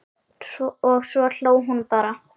Og svo hló hún bara.